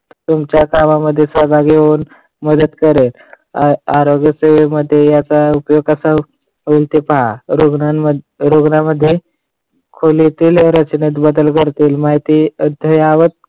तुमच्या कामांमध्ये सहभागी होऊन मदत करेन, आरोग्य सेवेमध्ये याचा उपयोग कसा होईल? ते पहा. रुग्णां रुग्णांमध्ये खोलीतील रचनेत बदल करतील माहिती अध्यायावत